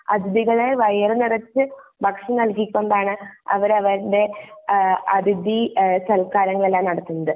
അതിഥികളെ വയറു നിറച്ചു ഭക്ഷണം നൽകികൊണ്ട് ആണ് അവര് അവരുടെ അഹ് അതിഥി സല്കാരങ്ങൾ എല്ലാം നടത്തുന്നത്